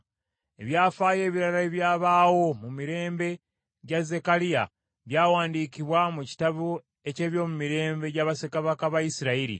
Ebyafaayo ebirala ebyabaawo mu mirembe gya Zekkaliya, byawandiikibwa mu kitabo eky’ebyomumirembe gya bassekabaka ba Isirayiri.